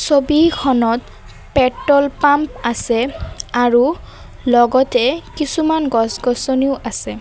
ছবি খনত petrol pump আছে আৰু লগতে কিছুমান গছ-গছনিও আছে।